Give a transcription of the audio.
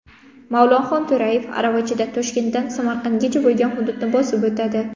Mavlonxon To‘rayev aravachada Toshkentdan Samarqandgacha bo‘lgan hududni bosib o‘tadi.